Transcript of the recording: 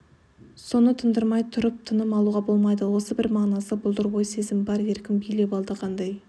соны тындырмай тұрып тыным алуға болмайды осы бір мағынасы бұлдыр ой-сезім бар еркін билеп алды қандай